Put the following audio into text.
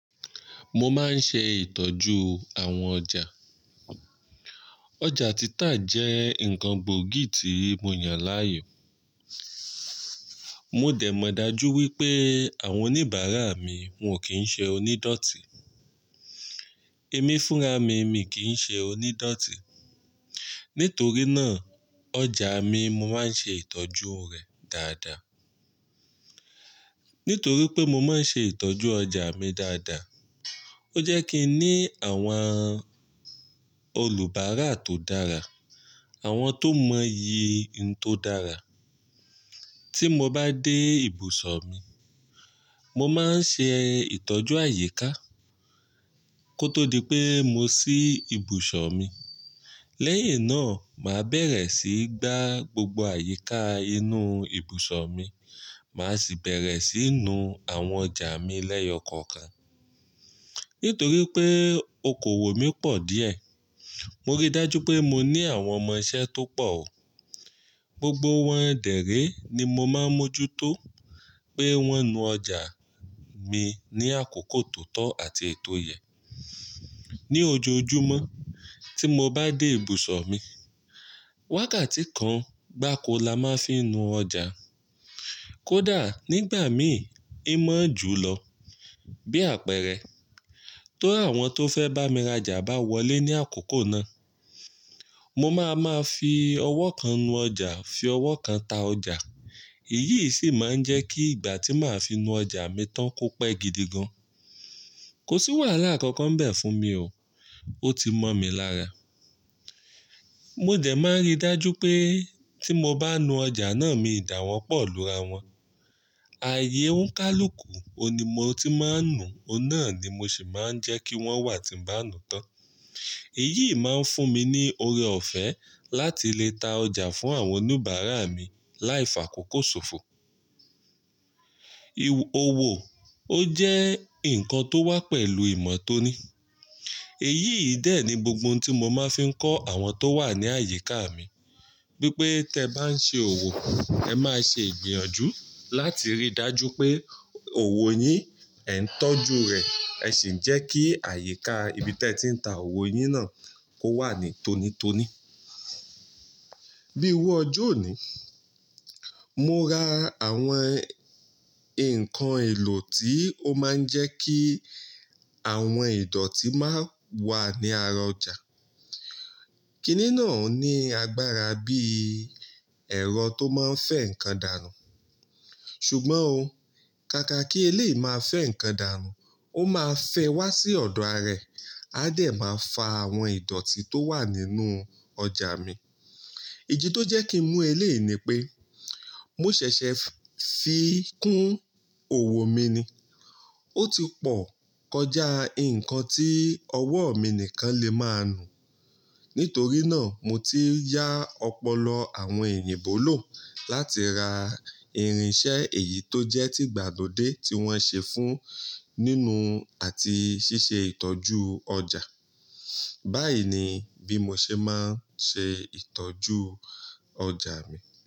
Mo máa ń ṣe ìtọ́jú àwọn ọjà. Ọjà títà jẹ́ nǹkan gbòógì tí mo yàn láàyò. Mo dẹ̀ mọ̀ dájú wípé àwọn oníbàárà mi wọn kì í ṣe onídọ̀tí. Ẹ̀mí fúnra mi, mi kìn ṣe onídọ̀tí. Nítorí náà, ọjà mi mo máa ń ṣe ìtọ́jú rẹ̀ dáadáa. Nítorí pé mo máa ń ṣe ìtọ́jú ọjà mi dáadáa, ó jẹ́ kí n ní àwọn olùbàárà tó dára, àwọn tó mọ iyì n tó dára. Tí mo bá dé ibùsọ̀ mi, mo máa ń ṣe ìtọ́jú àyíká kó tó di pé mo sí ibùsọ̀ mi. Lẹ́yìn náà, màá bẹ̀rẹ̀ sí í gbá gbogbo àyíká inú ibùsọ̀ mi, màá sì bẹ̀rẹ̀ sí í nu àwọn ọjà mi lẹ́yọ̀kọ̀kan. Nítorí pé okòwò mi pọ̀ díẹ̀, mo rí dájú pé mo ní àwọn ọmọ-iṣẹ́ tó pọ̀ o. Gbogbo wọn dẹ̀ ré ní mo máa ń mójútó pé wọ́n nu ọjà mi ní àkókò tó tọ́ àti ètò ìyẹ́. Ni ojoojúmọ́, tí mo bá dé ibùsọ̀ mi, wákàtí kan gbá ko la máa fi nu ọjà. Kódà nígbà mi í mọ́ ju lọ. Bí àpẹẹrẹ, ti àwọn tó fẹ́ bá mi rajà bá wọlé ní àkókò náà, mo máa máa fi ọwọ́ kan nu ọjà, fi ọwọ́ kan ta ọjà. Èyí sì máa ń jẹ́ kí ìgbà tí màá fi nu ọjà mi tán kó pẹ́ gidi gan. Kò sì wàhálà kankan bẹ̀ fún mi o. Ó ti mọ́ mi lára. Mo dẹ̀ máa ń rí dájú pé tí mo bá nu ọjà náà, mi dà wọ́n pọ̀ lu ara wọn. Ààyè ó ń kálù kù, òun ni mo ti máa ń nu, òun náà ni mo sì máa ń jẹ́ kí wọ́n wà tí ń bá nu tán. Èyí máa ń fún mi ní ọrẹ ọ̀fẹ́ láti lè ta ọjà fún àwọn oníbàárà mi láìfàkókò ṣòfò. Iwo-owo ó jẹ́ nǹkan tó wá pẹ̀lú ìmọ̀ tó ní. Èyí yìí dè ẹ́ ni gbogbo ohun tí mo máa fi ń kọ́ àwọn tó wà ní àyíká mi. Wípé, tí ẹ bá ń ṣe òwò, ẹ má ṣe igbìyànjú láti rí dájú pé òwò yín ẹ ń tọ́jú rẹ̀, ẹ sì ń jẹ́ kí àyíká ibi tí ẹ ti ń ta òwò yín náà kó wà ní tónítóní. Bíi iru ọjọ́ òní, mo ra àwọn nǹkan èlò tí ó máa ń jẹ́ kí àwọn ìdọ̀tí máa wà ní ara ọjà. Kí nínàá ò ní agbára bí ẹ̀rọ tó máa ń fẹ́ nǹkan dàrú. Ṣùgbọ́n o, ká ká kí ilé yìí máa fẹ́ nǹkan dàrú, ó máa fẹ́ wá sí ọ̀dọ̀ ara ẹ̀, a dẹ̀ máa fa àwọn ìdọ̀tí tó wà nínú ọjà mi. Idi tó jẹ́ kí ń mú ilé yìí ni pé mó ṣẹ̀ṣẹ̀ fi kún òwò mi ni. Ó ti pọ̀ kọjá nǹkan tí ọwọ́ mi nìkan lè máa nu. Nítorí náà, mo ti yá ọpọlọ àwọn èyinbọ́ ló láti ra irinṣẹ́ èyí tó jẹ́ ti ìgbàlódé tí wọ́n ṣe fún nínú àti ṣíṣe ìtọ́jú ọjà. Báyìí ni bí mo ṣe máa ń ṣe ìtọ́jú ọjà mi.